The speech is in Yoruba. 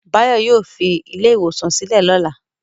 Báyọ̀ yóò fi ilé-ìwòsàn sílẹ̀ lọ́la.